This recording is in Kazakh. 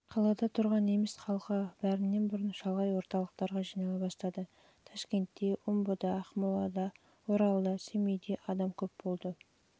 қалада тұрған неміс халқы бәрінен бұрын шалғай орталықтарға жинала бастады ташкентте омбыда ақмолада оралда семейде адам болды және